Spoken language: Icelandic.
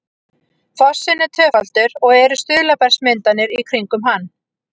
fossinn er tvöfaldur og eru stuðlabergsmyndanir í kringum hann